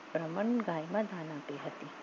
બ્રાહ્મણ ગાયમાં ધ્રનુટી હતી